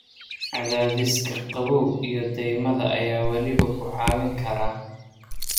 Cadaadiska qabow iyo dhaymada ayaa waliba ku caawin kara.